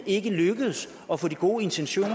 ikke lykkedes at få de gode intentioner